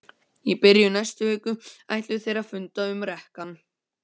Í byrjun næstu viku ætluðu þeir að funda um rekann.